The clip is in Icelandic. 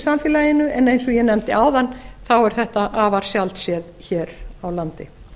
samfélaginu en eins og ég nefndi áðan þá er þetta afar sjaldséðir hér á landi